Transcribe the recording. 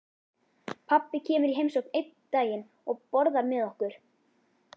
Pabbi kemur í heimsókn einn daginn og borðar með okkur.